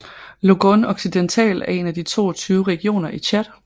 Logone Occidental er en af de 22 regioner i Tchad